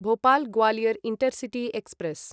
Bhopal Gwalior intercity express